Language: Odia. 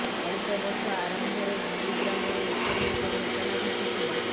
ଚଳିତ ବର୍ଷ ଆରମ୍ଭରେ ଗୁରୁଗ୍ରାମରେ ଏପରି ଏକ ଘଟଣା ଘଟିଥିଲା